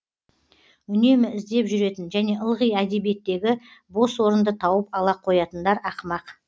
үнемі іздеп жүретін және ылғи әдебиеттегі бос орынды тауып ала қоятындар ақымақ